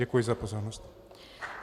Děkuji za pozornost.